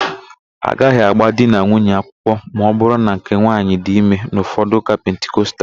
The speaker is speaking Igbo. Agaghị agba di na nwunye akwụkwọ ma ọbụrụ na nke nwaanyị dị ime n'ụfọdụ ụka pentikostal.